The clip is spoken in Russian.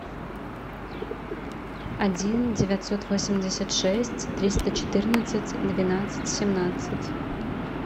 один девятьсот восемьдесят шесть триста четырнадцать двенадцать семнадцать